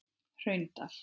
Hraundal